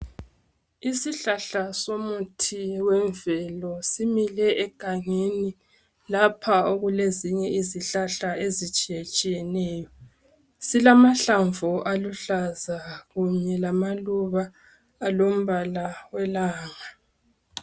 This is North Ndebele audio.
Isihlahla somuthi wemvelo simile egangeni lapha okulezinye izihlahla ezitshiyetshiyeneyo silamahlamvu aluhlaza kunye lamaluba alompala owelanga.